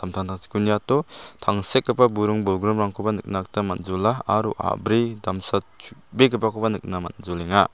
samtangtangchiko niato tangsekgipa buring bolgrimrangkoba nikna gita man·jola aro a·bri damsa chubegipakoba nikna man·jolenga.